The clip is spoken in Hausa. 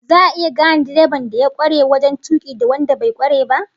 Za'a iya gane direban da ya kware wajen tuki da wanda bai kware ba?